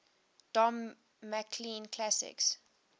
don mclean classics